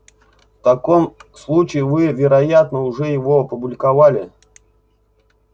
в таком случае вы вероятно уже его опубликовали